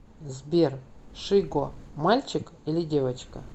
сбер шиго мальчик или девочка